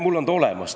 Mul on see olemas.